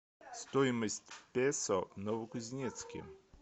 стоимость песо в новокузнецке